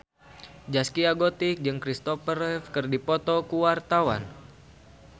Zaskia Gotik jeung Christopher Reeve keur dipoto ku wartawan